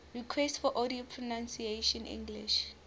requests for audio pronunciation english